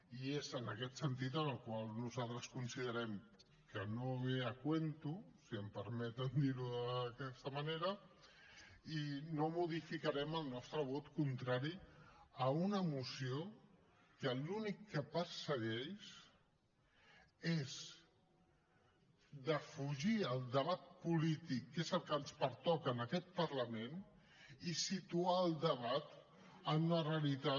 i és en aquest sentit en el qual nosaltres considerem que no ve a qüento si em permeten dir ho d’aquesta manera i no modificarem el nostre vot contrari a una moció que l’únic que persegueix és defugir el debat polític que és el que ens pertoca en aquest parlament i situar el debat en una realitat